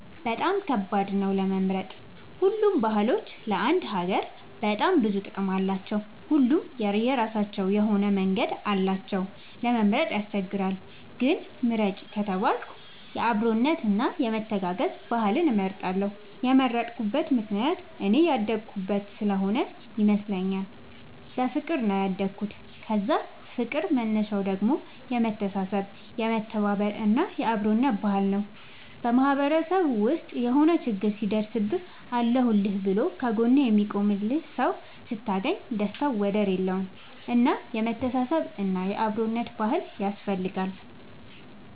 በጣም ከባድ ነው ለመምረጥ ሁሉም ባህሎች ለአንድ ሀገር በጣም ብዙ ጥቅም አላቸው። ሁሉም የራሳቸው መንገድ አላቸው እና ለመምረጥ ያስቸግራል። ግን ምርጥ ከተባልኩ የአብሮነት እና የመተጋገዝ ባህልን እመርጣለሁ የመረጥኩት ምክንያት እኔ ያደኩበት ስሆነ ይመስለኛል። በፍቅር ነው ያደኩት የዛ ፍቅር መነሻው ደግሞ የመተሳሰብ የመተባበር እና የአብሮነት ባህል ነው። በማህበረሰብ ውስጥ የሆነ ችግር ሲደርስብህ አለሁልህ ብሎ ከ ጎንህ የሚቆምልህ ሰው ስታገኝ ደስታው ወደር የለውም። እና የመተሳሰብ እና የአብሮነት ባህል ያስፈልጋል